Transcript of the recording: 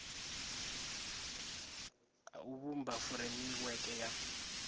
a u vhumba furemiweke ya